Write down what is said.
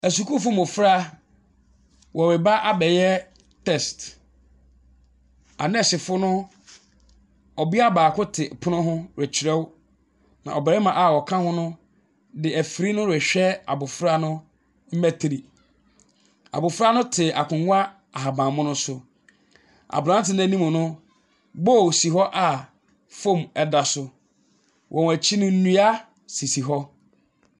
Asukuufoɔ mmofra, wɔreba abɛyɛ test. Anursefo no, ɔbea baako te pono ho rekyerɛw na ɔbarima a ɔka ho no, de afiri no rehwɛ abofra no mmatri. Abofra no te akonnwa ahabanmono so. Abrante no anim no, bowl si hɔ hɔ a foam ɛda so. Wɔn akyi no nnua sisi hɔ.